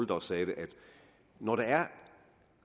der sagde det at når der er